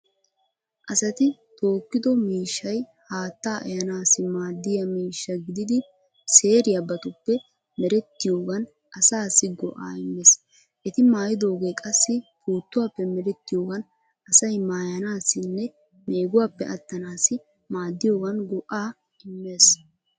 Asati tookkido miishshay haattaa ehaanaassi maaddiya miishsha gididi seeriyabatuppe merettiyoogan asaassi go'aa immees. Eti maayidooge qassi puuttuwaappe merettiyoogan asay maayanaassinne meeguwappe attanaassi maaddiyogan go'aa immees.